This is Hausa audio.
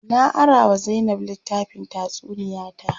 Na ara wa Zainab litttafin tatsuniya ta.